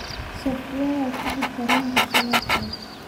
software tigidh tareenka si loo furo